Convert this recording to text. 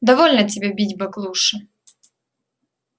довольно тебе бить баклуши